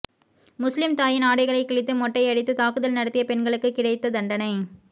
முஸ்லீம் தாயின் ஆடைகளை கிழித்து மொட்டையடித்து தாக்குதல் நடத்திய பெண்களுக்கு கிடைத்த தண்டனை